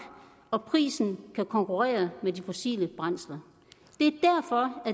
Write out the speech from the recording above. og prisen kan konkurrere med fossile brændsler